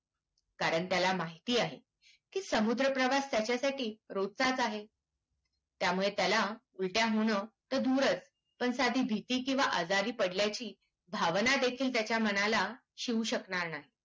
कारण त्याला माहिती आहे की समुद्र प्रवास त्याच्यासाठी रोजचाच आहे त्यामुळे त्याला उलट्या होणं तर दूरच पण साधी भीती किवा आजारी पडल्याची भावनादेखील त्याच्या मनाला शिवू शकणार नाही